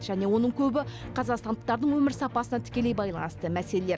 және оның көбі қазақстандықтардың өмір сапасына тікелей байланысты мәселелер